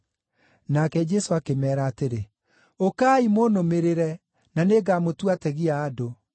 Nake Jesũ akĩmeera atĩrĩ, “Ũkai, mũnũmĩrĩre, na nĩngamũtua ategi a andũ.”